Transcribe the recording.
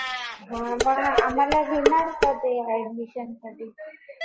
हा मग आम्हाला घेणार का ते ऍडमिशन साठी .